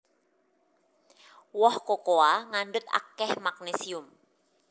Woh kokoa ngandhut akèh magnésium